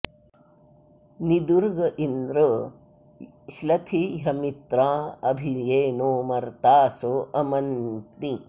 नि दुर्ग इन्द्र श्नथिह्यमित्राँ अभि ये नो मर्तासो अमन्ति